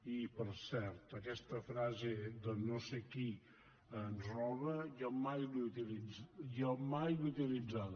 i per cert aquesta frase de no sé qui ens roba jo mai l’he utilitzada